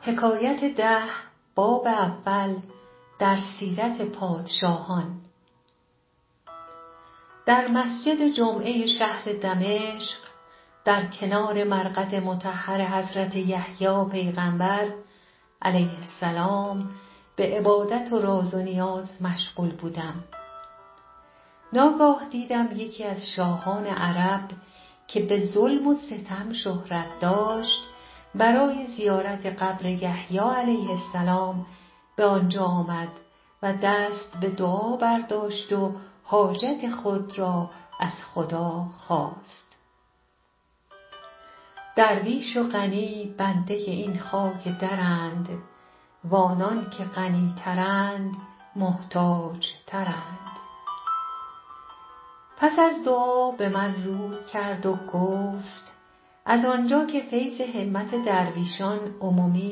بر بالین تربت یحیی پیغامبر -علیه السلام- معتکف بودم در جامع دمشق که یکی از ملوک عرب که به بی انصافی منسوب بود اتفاقا به زیارت آمد و نماز و دعا کرد و حاجت خواست درویش و غنی بنده این خاک درند و آنان که غنی ترند محتاج ترند آن گه مرا گفت از آن جا که همت درویشان است و صدق معاملت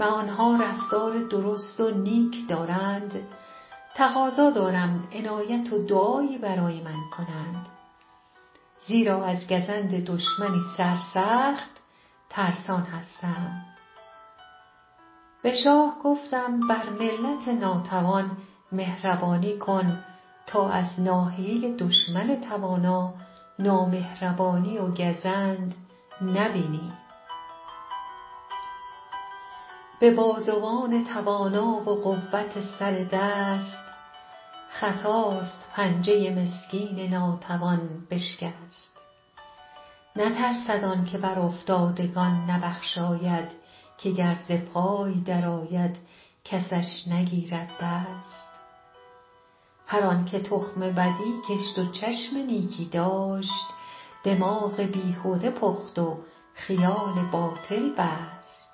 ایشان خاطری همراه من کنید که از دشمنی صعب اندیشناکم گفتمش بر رعیت ضعیف رحمت کن تا از دشمن قوی زحمت نبینی به بازوان توانا و قوت سر دست خطاست پنجه مسکین ناتوان بشکست نترسد آن که بر افتادگان نبخشاید که گر ز پای در آید کسش نگیرد دست هر آن که تخم بدی کشت و چشم نیکی داشت دماغ بیهده پخت و خیال باطل بست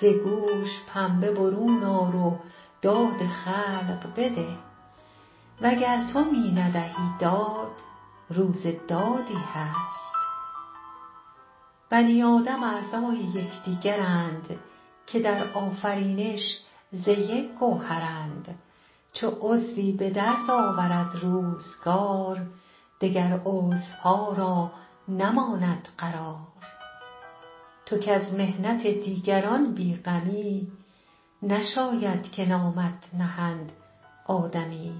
ز گوش پنبه برون آر و داد خلق بده وگر تو می ندهی داد روز دادی هست بنی آدم اعضای یکدیگرند که در آفرینش ز یک گوهرند چو عضوی به درد آورد روزگار دگر عضوها را نماند قرار تو کز محنت دیگران بی غمی نشاید که نامت نهند آدمی